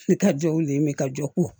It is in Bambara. Ne ka jɔw ye ne ka jɔ ko